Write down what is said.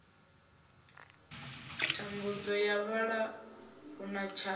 thambudzo ya vhalala huna tshakha